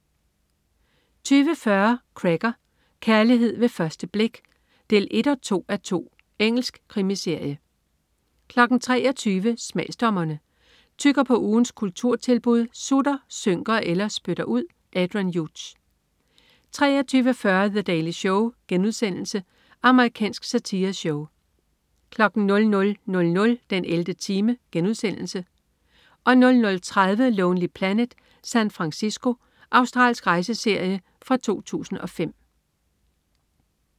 20.40 Cracker: Kærlighed ved første blik 1-2:2. Engelsk krimiserie 23.00 Smagsdommerne. Tygger på ugens kulturtilbud, sutter, synker eller spytter ud. Adrian Hughes 23.40 The Daily Show.* Amerikansk satireshow 00.00 den 11. time* 00.30 Lonely Planet: San Francisco. Australsk rejseserie fra 2005